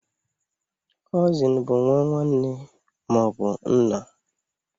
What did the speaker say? Cụsịn bụ nwa nwanne nne ma ọ bụ nna.